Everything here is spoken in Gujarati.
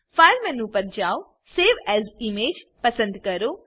ફાઇલ મેનુ પર જાઓ સિલેક્ટ સવે એએસ ઇમેજ પસંદ કરો